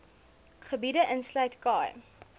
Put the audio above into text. gebiede insluit khai